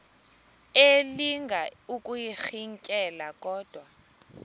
elinga ukuyirintyela kodwa